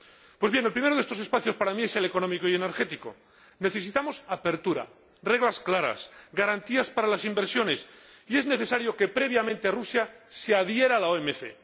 Pues bien, el primero de estos espacios para mí es el económico y energético necesitamos apertura, reglas claras, garantías para las inversiones, y es necesario que previamente Rusia se adhiera a la OMC.